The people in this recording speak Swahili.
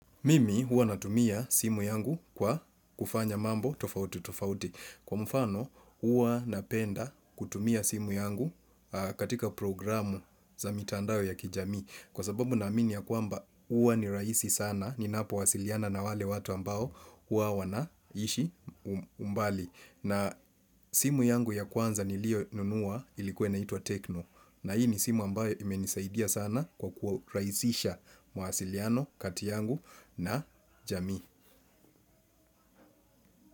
Mimi, huwa natumia simu yangu kwa kufanya mambo tofauti tofauti. Kwa mfano, huwa napenda kutumia simu yangu katika programu za mitandao ya kijamii. Kwa sababu naamini ya kwamba, huwa ni raisi sana, ninapowasiliana na wale watu ambao huwa wanaishi umbali. Na simu yangu ya kwanza nilionunua ilikuwa inaitwa tecno. Na hii ni simu ambayo imenisaidia sana kwa kuraisisha mawasiliano kati yangu na jamii.